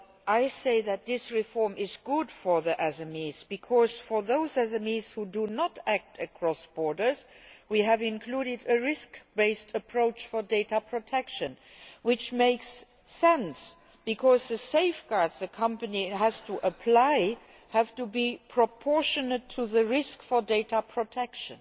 I say that this reform is good for SMEs, because for those SMEs which do not operate cross border, we have included a risk based approach to data protection, which makes sense, because the safeguards a company has to apply have to be proportionate to the risk for data protection.